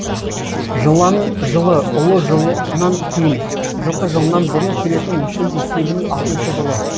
жылан жылы ұлу жылынан кейін жылқы жылынан бұрын келетін мүшел есебінің алтыншы жылы